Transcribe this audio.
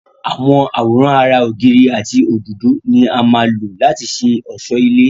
àwọn àwòrán ara ògiri àti òdòdó ni á má lò láti ṣe ọ̀sọ́ ilé